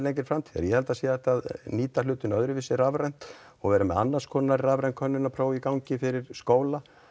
framtíðar ég held að það sé hægt að nýta hlutina öðruvísi rafrænt og vera með annars konar rafræn könnunarpróf í gangi fyrir skóla